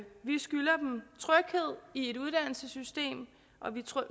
et uddannelsesystem og vi